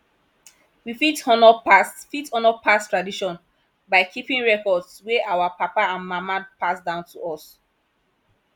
we fit honour past fit honour past tradition by keeping records wey our papa and mama pass down to us